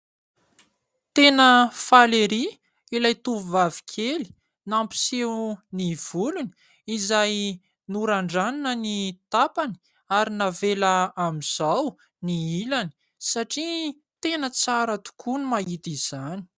Tena faly ery ilay tovovavy kely, nampiseho ny volony izay norandranina ny tapany, ary navela amin'izao ny ilany satria tena tsara tokoa no mahita izany.